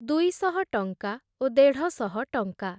ଦୁଇଶହ ଟଙ୍କା ଓ ଦେଢ଼ଶହ ଟଙ୍କା ।